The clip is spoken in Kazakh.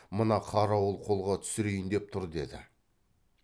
мына қарауыл қолға түсірейін деп тұр деді